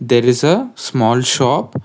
there is a small shop.